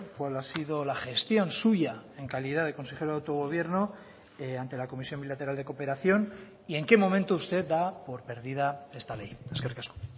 cuál ha sido la gestión suya en calidad de consejero de autogobierno ante la comisión bilateral de cooperación y en qué momento usted da por perdida esta ley eskerrik asko